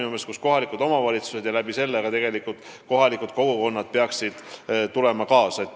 Nii et kohalikud omavalitsused ja nende kaudu ka kohalikud kogukonnad peaksid kaasa tulema.